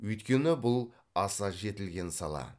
өйткені бұл аса жетілген сала